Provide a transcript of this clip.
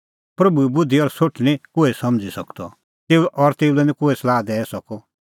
प्रभूए बुधि और सोठ निं कोहै समझ़ी सकदअ और तेऊ लै निं कोहै सलाह दैई सकअ